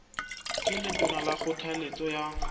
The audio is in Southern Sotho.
ke letona ka kgothaletso ya